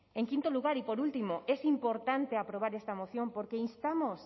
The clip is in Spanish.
en quinto lugar y por último es importante aprobar esta moción porque instamos